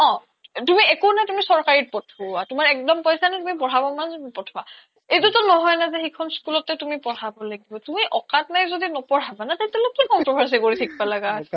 তুমি একো নাই তুমি চৰকাৰীত পঠোৱা তোমাৰ একদম পইছা নাই তুমি পঢ়াব পঠোৱা এইটোটো নহয় সেইখন school তে তুমি পঢ়াৱ লাগিব তুমি আউকাদ নাই যদি নপঢ়াবা ন তাতে লৈ কি controversy কৰি থকবা লাগা হৈছে